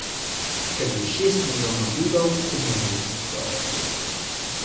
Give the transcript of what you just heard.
Ker je šest milijonov Judov umoril človek.